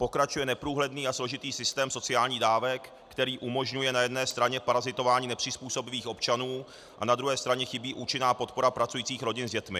Pokračuje neprůhledný a složitý systém sociálních dávek, který umožňuje na jedné straně parazitování nepřizpůsobivých občanů, a na druhé straně chybí účinná podpora pracujících rodin s dětmi.